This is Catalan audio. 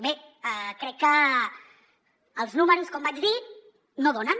bé crec que els números com vaig dir no donen